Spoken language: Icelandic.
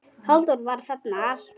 Halldór var þarna alltaf.